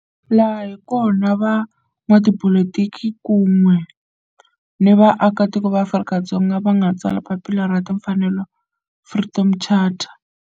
Laha hi kona la van'watipolitiki kun'we ni vaaka tiko va Afrika-Dzonga va nga tsala papila ra timfanelo, Freedom Charter.